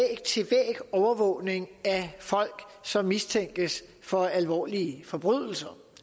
overvågning af folk som mistænkes for alvorlige forbrydelser